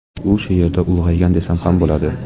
U shu yerda ulg‘aygan, desam ham bo‘ladi.